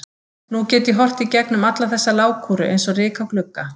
Nú get ég horft í gegnum alla þessa lágkúru eins og ryk á glugga.